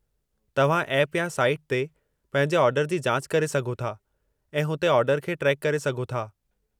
तव्हां ऐप या साइट ते पंहिंजे ऑर्डर जी जाच करे सघो था ऐं हुते ऑर्डर खे ट्रैक करे सघो था।